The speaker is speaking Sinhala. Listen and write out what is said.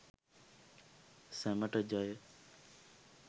සැමට ජය!